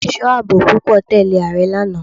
Àwọn ẹ̀sọ́ àbò púpọ̀ tẹ̀lẹ́ Ààrẹ lánàá.